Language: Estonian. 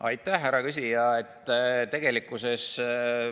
Aitäh, härra küsija!